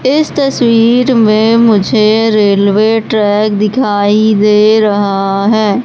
इस तस्वीर में मुझे रेलवे ट्रैक दिखाई दे रहा है।